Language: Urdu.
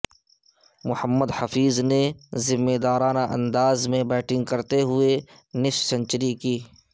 محمد حفیظ نے ذمہ دارانہ انداز میں بیٹنگ کرتے ہوئے نصف سنچری سکور کی